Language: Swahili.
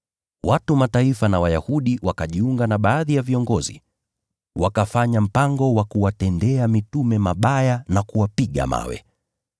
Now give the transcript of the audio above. Watu wa Mataifa na Wayahudi wakajiunga na baadhi ya viongozi, wakafanya mpango wa kuwatendea mitume mabaya na kuwapiga mawe.